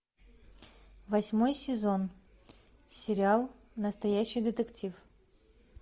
восьмой сезон сериал настоящий детектив